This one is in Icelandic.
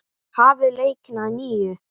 Hafið leikinn að nýju.